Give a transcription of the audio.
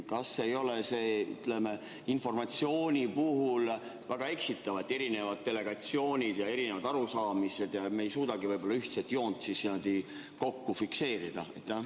Kas see ei ole sellise informatsiooni puhul väga eksitav, kui on erinevad delegatsioonid ja erinevad arusaamised, nii et me ei suudagi niimoodi mingit ühtset joont fikseerida?